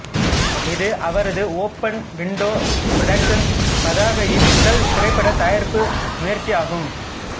இது அவரது open window productions பதாகையின் முதல் திரைப்படத் தயாரிப்பு முயற்சியாகும்